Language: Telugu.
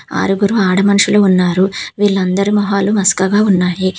ఆరుగురు ఆడ మనసులు ఉన్నారు వీళ్ళందరూ మొహాలు మసకగా ఉన్నాయి.